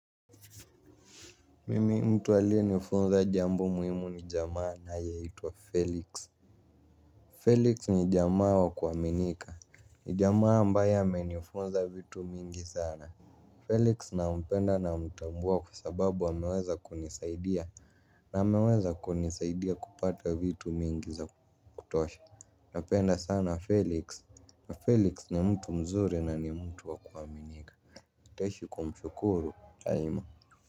Mimi mtu aliye nifunza jambu muhimu ni jamaa anaye hitwa Felix Felix nijamaa wa kuhaminika ni jamaa ambaye amenifunza vitu mingi sana Felix nampenda namutambua kwa sababu ameweza kunisaidia. Na ameweza kunisaidia kupata vitu mingi za kutosha. Napenda sana Felix. Na Felix ni mtu mzuri na ni mtu wakuwaminika nitaishi kumshukuru, daima.